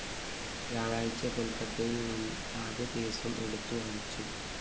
വ്യാഴാഴ്ച കൊല്‍ക്കത്തയില്‍ ആദ്യ കേസും എടുത്ത്‌ വാദിച്ചു